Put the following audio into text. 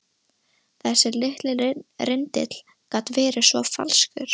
Þessi litli rindill gat verið svo falskur.